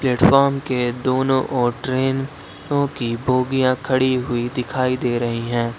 Platform के दोनों और ट्रेनों की बोगियां खड़ी हुई दिखाई दे रही हैं।